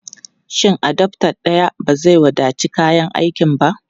Shin adaftar daya ba zai wadaci kayan aikin ba?